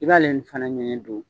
I b'ale nin fana ɲɛɲɛ don.